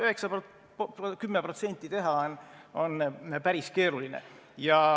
9–10% teha on päris keeruline.